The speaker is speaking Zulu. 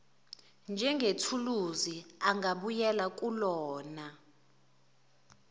njengethuluzi ongabuyela kulona